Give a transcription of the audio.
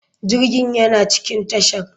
Jirgin yana cikin tashar.